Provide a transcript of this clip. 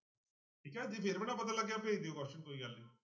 ਠੀਕ ਹੈ ਜੇ ਫਿਰ ਵੀ ਨਾ ਪਤਾ ਲੱਗਿਆ ਭੇਜ ਦਿਓ question ਕੋਈ ਗੱਲ ਨੀ।